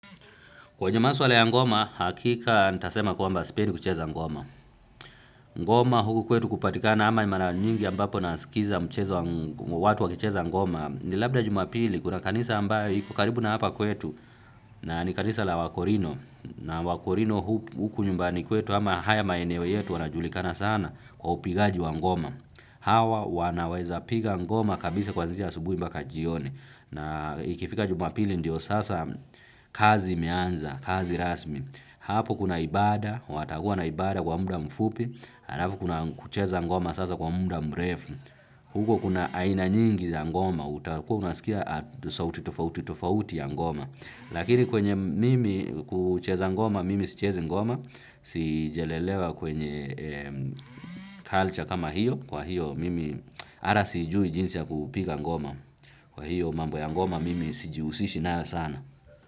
Kwenye maswala ya ngoma, hakika nitasema kwamba sipendi kucheza ngoma. Ngoma huku kwetu kupatikana ama mara nyingi ambapo nasikiza michezo ya watu wakicheza ngoma. Ni labda Jumapili, kuna kanisa ambalo liko karibu na hapa kwetu, na ni kanisa la Wakorino. Na Wakorino huku nyumbani kwetu, ama haya maeneo yetu, wanajulikana sana kwa upigaji wa ngoma. Hawa wanaweza piga ngoma kabisa kuanzisha asubuhi mbaka jioni. Na ikifika jumapili ndiyo sasa kazi imeanza, kazi rasmi. Hapo kuna ibada, watakuwa na ibada kwa muda mfupi, halafu kuna kucheza ngoma sasa kwa muda mrefu. Huko kuna aina nyingi za ngoma, utakuwa unasikia hata sauti tofauti tofauti za ngoma. Lakini kwenye mimi kucheza ngoma, mimi sichezi ngoma, sijalelewa kwenye culture kama hiyo. Kwa hiyo mimi hata sijui jinsi ya kupiga ngoma. Kwa hiyo mambo ya ngoma mimi sijiusishi nayo sana.